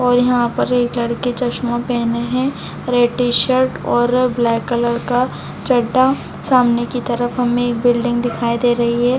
और यहाँ पर एक लड़की चश्मा पहनें है और एक टी-शर्ट और ब्लैक कलर का चड्डा सामने की तरफ हमें एक बिल्डिंग दिखाई दे रही है।